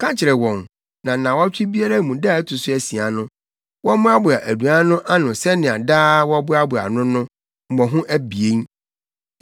Ka kyerɛ wɔn na nnaawɔtwe biara mu da a ɛto so asia no, wɔmmoaboa aduan no ano sɛnea daa wɔboaboa no no, mmɔho abien.”